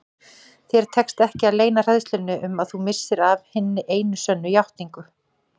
Þér tekst ekki að leyna hræðslunni um að þú missir af hinni einu sönnu játningu.